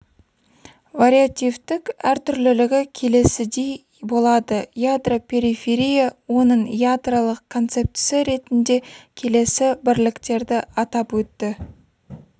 вариативтік әртүрлілігі келесідей болады ядро периферия оның ядролық концептісі ретінде келесі бірліктерді атап өтті